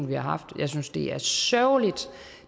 vi har haft jeg synes det er sørgeligt